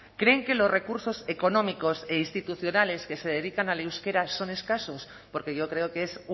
creen que los recursos económicos e institucionales que se dedican al euskera son escasos porque yo creo que es